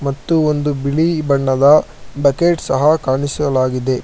ಮತ್ತು ಒಂದು ಬಿಳಿ ಬಣ್ಣದ ಬಕೆಟ್ ಸಹ ಕಾಣಿಸಲಾಗಿದೆ.